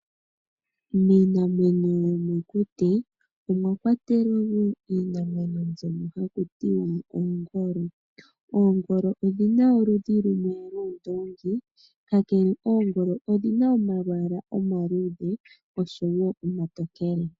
Miinamwenyo yomokuti omwakwatelwa wo iinamwenyo mbyono hakutiwa ongolo. Oongolo odhi na oludhi lwuundoongi kakele oongolo odhi na omalwaala omaluudhe oshowo omatokele.